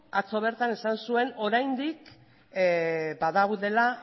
atzo bertan esan zuen oraindik badaudela